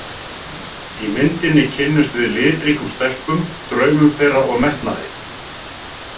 Í myndinni kynnumst við litríkum stelpum, draumum þeirra og metnaði.